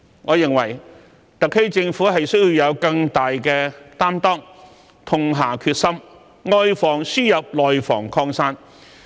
我認為特區政府需要以更大擔當，痛下決心，外防輸入，內防擴散。